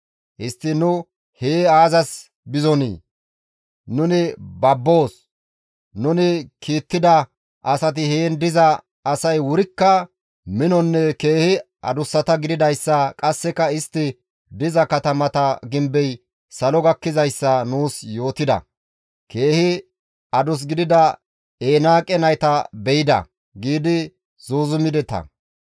histtiin nu hee aazas bizonii? Nuni babboos; nuni kiittida asati heen diza asay wurikka minonne keehi adussata gididayssa qasseka istti diza katamata gimbey salo gakkidayssa nuus yootida; keehi adus gidida Enaaqe nayta be7ida› giidi zuuzumideta.